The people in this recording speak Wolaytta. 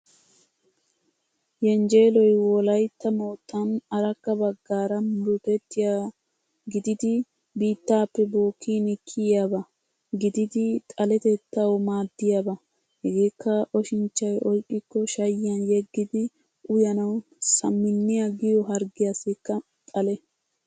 Yenjjeeloy Wolaytta moottan Arakka baggaara murutettiyaa gididi biittaappe bookkin kiyiyaba. gididi xaletettawu maaddiyaaba. Hegeekka oshinchchay oyqqikko shayyiyan yeggidi uyanawu, saminniya giyo harggiyaassikka xale.